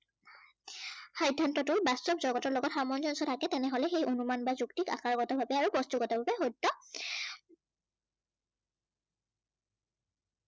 সিদ্ধান্তটো বাস্তব জগতৰ লগত সামঞ্জস্য় থাকে তেনেহলে সেই অনুমান বা যুক্তিক আকাৰগত ভাৱে আৰু বস্তুগত ভাৱে